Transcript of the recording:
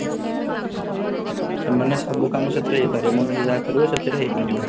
ତାମାନେ ସବୁକାମ ସେଥିରେ ହେଇପାରେ ମଣିଷ ଯାହା କାରିବ ସେଥିରେ ହେଇପାରିବ